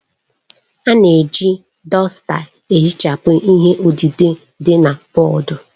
A na-eji dọsta ihichapụ ihe odide dị na bọọdụ